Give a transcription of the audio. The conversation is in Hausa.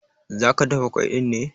Zaka dafa ƙwai ɗin ne?